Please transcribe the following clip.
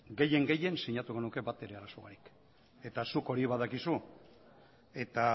gehien gehien sinatuko nuke batere arazo barik eta zuk hori badakizu eta